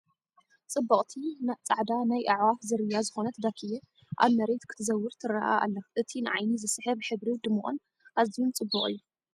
!ጽብቕቲ ጻዕዳ ናይ ኣዕዋፍ ዝርያ ዝኾነት ዳኪያ ኣብ መሬት ክትዘውር ትርአ ኣላ። እቲ ንዓይኒ ዝስሕብ ሕብሪ ድሙቕን ኣዝዩ ጽቡቕን እዩ!